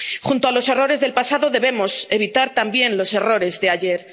Junto a los errores del pasado debemos evitar también los errores de ayer.